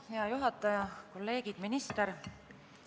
Hea juhataja, kolleegid, minister!